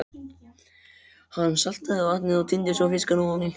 Hann saltaði vatnið og tíndi svo fiskana ofaní.